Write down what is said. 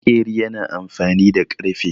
Maƙeri yana amfani da ƙarfe.